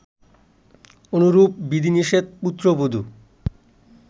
অনুরূপ বিধিনিষেধ পুত্রবধু